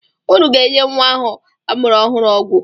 Ụnụ ga-enye nwa ahụ amụrụ ọhụrụ ọgwụ!